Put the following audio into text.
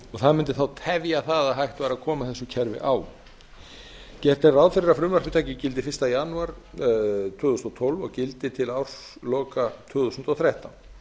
og það mundi þá tefja það að hægt væri að koma þessu kerfi á gert er ráð fyrir að frumvarpið taki gildi fyrsta janúar tvö þúsund og tólf og gildi til ársloka tvö þúsund og þrettán